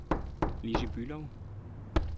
Lissy Bülow